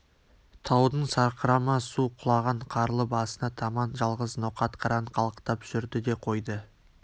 таудың сарқырама су құлаған қарлы басына таман жалғыз ноқат қыран қалықтап жүрді де қойды